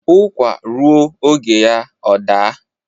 Ụkwạ ruo oge ya ọ daa.